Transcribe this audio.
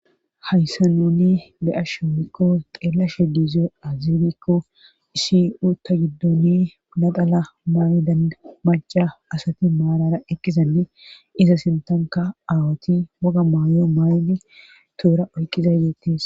hayssa nuni be7ashommikko xeelashe diizo azibikko isiu ta giddoni nadala maayidan maca asati maarara eqqizanne iza sintanka aawoti woga maayo maay7di tuura oyqiza yeetis